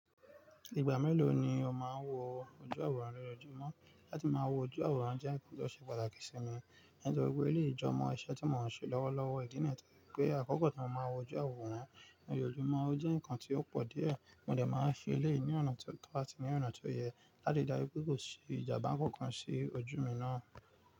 Ìgbà mélòó ni o máa ń wo ojú àwòrán ní ojúmọ́? Láti máa wo ojú àwòrán jẹ́ nǹkan tó ṣe pàtàkì sí mi. Nítorí pé ó lè jọmọ isẹ́ tí mò ń ṣe lọ́wọ́lọ́wọ́ ìdí nìyẹn pé àkọ́kọ́ tí mo máa wo ojú àwòrán ní ojúmọ́, ó jẹ́ nǹkan tí ó pọ̀ díẹ̀. Mo dẹ̀ máa n ṣe eléyìí ní ọ̀nà tí ó tó àti ní ọ̀nà tó yẹ láti rí dájú wípé kò sí ìjàmbá kankan sí ojú mi náà.